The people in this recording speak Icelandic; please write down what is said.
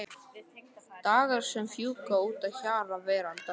Dagar sem fjúka út að hjara veraldar.